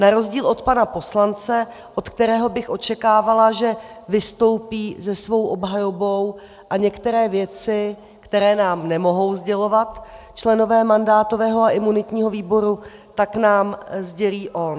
Na rozdíl od pana poslance, od kterého bych očekávala, že vystoupí se svou obhajobou a některé věci, které nám nemohou sdělovat členové mandátového a imunitního výboru, tak nám sdělí on.